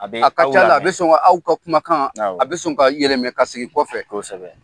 A ka c'ala a bɛ sɔn aw ka kumakan a bɛ sɔn ka i yɛrɛ minɛ ka sigi kɔfɛ.